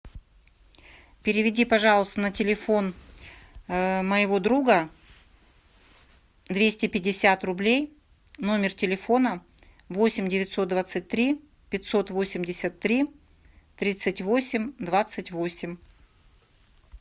переведи пожалуйста на телефон моего друга двести пятьдесят рублей номер телефона восемь девятьсот двадцать три пятьсот восемьдесят три тридцать восемь двадцать восемь